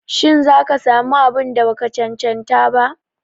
Shi za ka sa mu abun da ba ka cancanta ba?